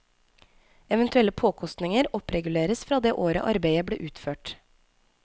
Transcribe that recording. Eventuelle påkostninger oppreguleres fra det året arbeidet ble utført.